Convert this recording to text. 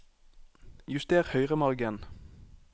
Juster høyremargen